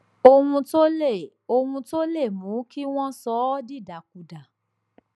ohun tó lè ohun tó lè mú kí wọn sọ ọ dìdàkudà